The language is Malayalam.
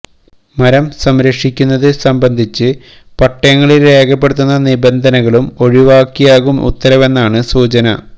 മരം സംരക്ഷിക്കുന്നത് സംബന്ധിച്ച് പട്ടയങ്ങളില് രേഖപ്പെടുത്തുന്ന നിബന്ധനകളും ഒഴിവാക്കിയാകും ഉത്തരവെന്നാണ് സൂചന